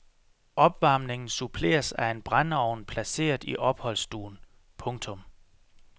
Opvarmningen suppleres af en brændeovn placeret i opholdsstuen. punktum